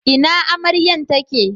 Ina amaryan ta ke